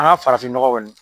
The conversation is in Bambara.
An ka farafin ɲɔgɔ kɔni.